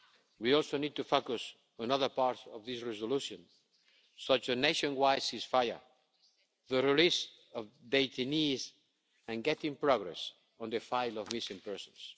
Geneva. We also need to focus on other parts of this resolution, such as a nationwide ceasefire, the release of detainees, and making progress on the file of missing